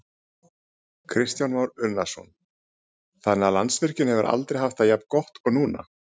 Kristján Már Unnarsson: Þannig að Landsvirkjun hefur aldrei haft það jafn gott og núna?